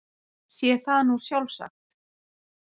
Sé það nú sjálfsagt.